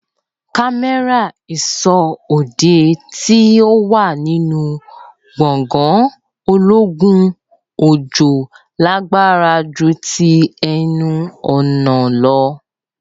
cámérà ìsọ́ òde tí o wà nínú gbògàn ológun òjòó lágbára jù tí ẹnu ọ̀nà lọ